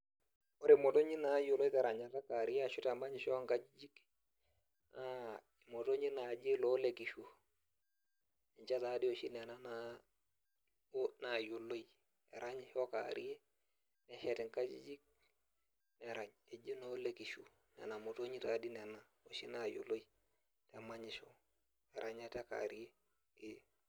Ore imotonyik naayioloi teranyare ekewarie arashu temanyisho oonkajijik naa imotonyik naaji loolekishu ninche naa doi oshi nena naayioloi eranyisho kewarie neshet nkajijik erany eji noolekishu nenamotonyik taa doi nena oshi naayioloi temanyisho orenyata ekewarie.